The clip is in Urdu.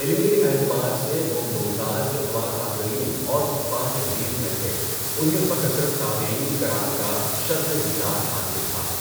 علمی اعتبار سے وہ ممتاز اتباع تابعین اورحفاظِ حدیث میں تھے، انہیں بکثرت تابعین کرام کا شرفِ دیدار حاصل تھا۔